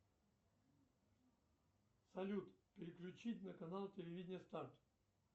салют переключить на канал телевидения старт